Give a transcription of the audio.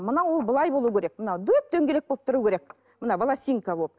мынау ол былай болу керек мынау дөп дөңгелек болып тұру керек мына волосинка болып